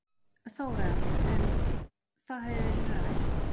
Þóra: En það hefur verið rætt?